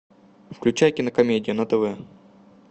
включай кинокомедия на тв